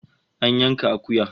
An yanka akuya